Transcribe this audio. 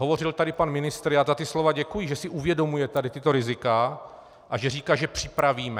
Hovořil tady pan ministr, já za ta slova děkuji, že si uvědomuje tady tato rizika, a že říká, že připravíme.